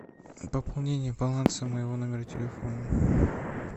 пополнение баланса моего номера телефона